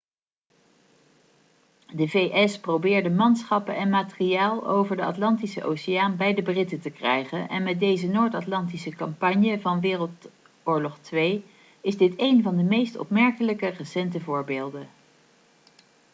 de vs probeerde manschappen en materiaal over de atlantische oceaan bij de britten te krijgen en met deze noord-atlantische campagne van woii is dit één van de meest opmerkelijke recente voorbeelden